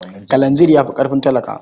Kalanzir ya fi ƙarfin talaka.